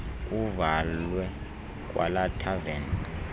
kuvalwe kwalaa thaveni